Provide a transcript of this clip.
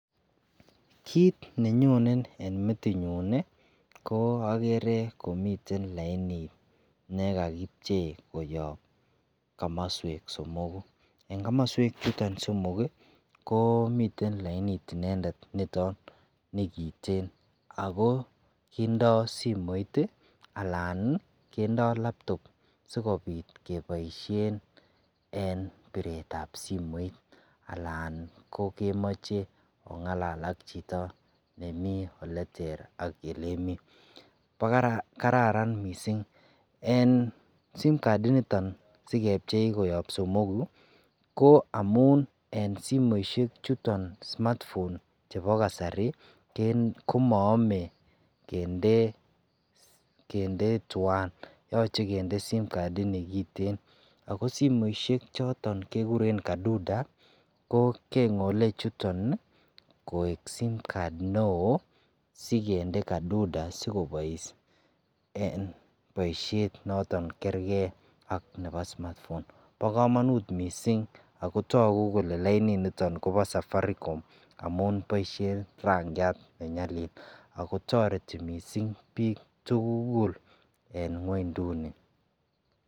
Kit nenyonen en metinyun ko agerekomiten lainit ne kagipchei koyobkomoswek somoku. En komoswechuton somok komiten lainit inendet niton ne kiten ago kindoo simoit anan kindo laptop sigopit keboisien en biretab simoit anan ko kemoche ongalal ak chito nemi oleter ak olemi. Ko karan mising en simcard initon, sigepchei koyop somogu ko amun en simoisiechuton simatfon chebo kasari en komaame kinde tuan. Yoche kinde simcard inikiten ago simoisiek choton kigiren kaduda kengole chuton koek simcard neo sikende kaduda sigobois en boisiet noto kerge ak smatfon. Bo kamanut mising ago tagu kole lainit niton kobo safaricom amun boisien rangiat ne nyalil ago toreti mising biik tugul en ngwenduni.